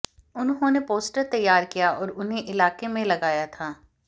उन्होंने पोस्टर तैयार किया और उन्हें इलाके में लगाया था